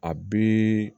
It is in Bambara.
A bi